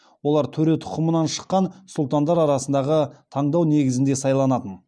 олар төре тұқымынан шыққан сұлтандар арасындағы таңдау негізінде сайланатын